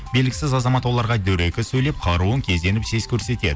белгісіз азамат оларға дөрекі сөйлеп қаруын кезеніп сес көрсетеді